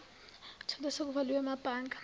etholwe sekuvaliwe emabhange